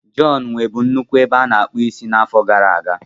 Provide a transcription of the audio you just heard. John nwebu nnukwu ebe a na-akpụ isi n'afọ gara aga.